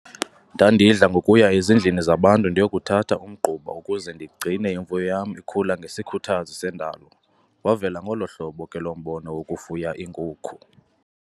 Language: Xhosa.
Ndandidla ngokuya ezindlini zabantu ndiyokuthatha umgquba ukuze ndigcine imifuno yam ikhula ngesikhuthazi sendalo. Wavela ngolo hlobo ke lo mbono wokufuya iinkukhu.